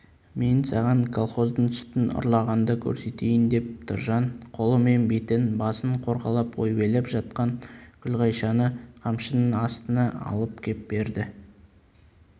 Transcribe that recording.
мен саған колхоздың сүтін ұрлағанды көрсетейін деп тұржан қолымен бетін басын қорғалап ойбайлап жатқан күлғайшаны қамшының астына алып кеп берді